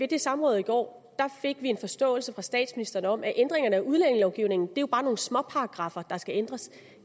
det samråd i går fik vi en forståelse fra statsministeren om at ændringerne af udlændingelovgivningen jo bare er nogle småparagraffer der skal ændres